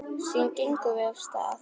Síðan gengum við af stað.